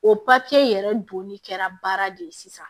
O yɛrɛ donni kɛra baara de ye sisan